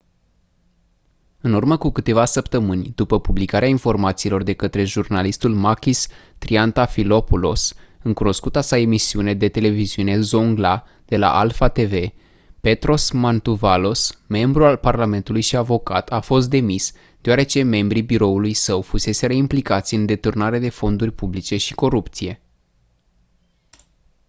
în urmă cu câteva săptămâni după publicarea informațiilor de către jurnalistul makis triantafylopoulos în cunoscuta sa emisiune de televiziune «zoungla» de la alpha tv petros mantouvalos membru al parlamentului și avocat a fost demis deoarece membrii biroului său fuseseră implicați în deturnare de fonduri publice și corupție.